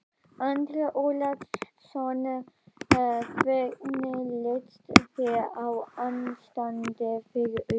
Andri Ólafsson: Hvernig líst þér á ástandið fyrir utan?